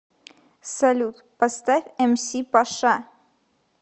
салют поставь эмси паша